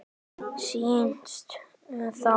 Snýst þá